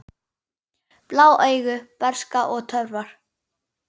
Blá augu, bernska og töfrar